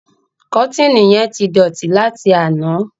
Kọ́tììnì yẹn ti dọ̀tí láti àná.